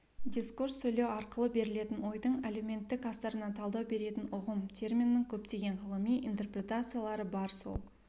дискурс сөйлесу арқылы берілетін ойдың әлеуметтік астарына талдау беретін ұғым терминнің көптеген ғылыми интерпретациялары бар сол